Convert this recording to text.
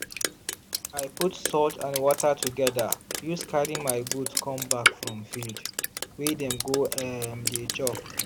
i put salt and water together use carry my goat come back from field wey dem go um dey chop.